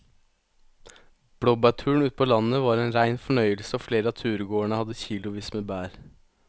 Blåbærturen ute på landet var en rein fornøyelse og flere av turgåerene hadde kilosvis med bær.